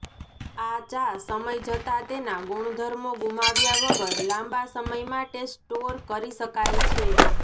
આ ચા સમય જતાં તેના ગુણધર્મો ગુમાવ્યા વગર લાંબા સમય માટે સ્ટોર કરી શકાય છે